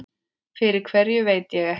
Fyrir hverju veit ég ekki.